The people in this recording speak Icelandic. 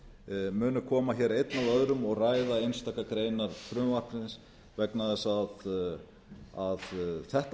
minnihlutaáliti koma hér einn af öðrum og ræða einstakar greinar frumvarpsins vegna þess að þetta